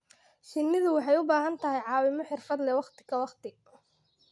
Shinnidu waxay u baahan tahay caawimo xirfad leh waqti ka waqti.